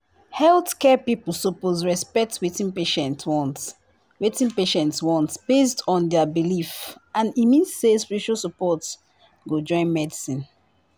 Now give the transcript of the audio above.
healthcare people suppose respect wetin patients want wetin patients want based on their belief and e mean say spiritual support go join medicine